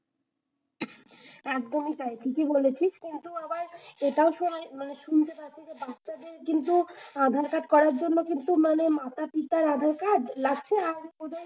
একদমই তাই ঠিকই বলেছিস কিন্তু আবার এটাও শুনাই মানে শুনতে পাবি যে বাচ্ছাদের কিন্তু আধার-কার্ড করার জন্য কিন্তু মানে মাতা-পিতার আধার-কার্ড লাগছে। আর ওদের